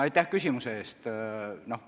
Aitäh küsimuse eest!